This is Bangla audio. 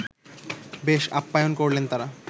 বেশ আপ্যায়ন করলেন তাঁরা